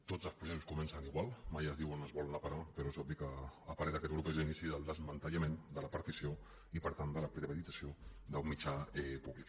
tots els processos comencen igual mai es diu on es vol anar a parar però és obvi que a parer d’aquest grup és l’inici del desmantellament de la partició i per tant de la privatització d’un mitjà públic